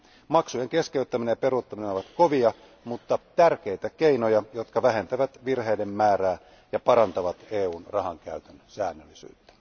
Maksujen keskeyttäminen ja peruuttaminen ovat kovia mutta tärkeitä keinoja, jotka vähentävät virheiden määrää ja parantavat EUn rahankäytön säännöllisyyttä.